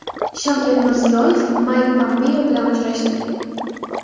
Shavkat Mirziyoyev Mayk Pompeo bilan uchrashdi.